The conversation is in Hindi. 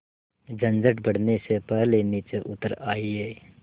झंझट बढ़ने से पहले नीचे उतर आइए